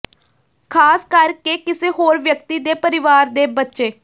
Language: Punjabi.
ਖ਼ਾਸ ਕਰਕੇ ਕਿਸੇ ਹੋਰ ਵਿਅਕਤੀ ਦੇ ਪਰਿਵਾਰ ਦੇ ਬੱਚੇ